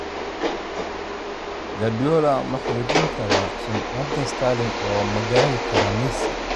Guardiola ma xoojin karaa sumcadda Sterling oo ma gaari karaa Messi?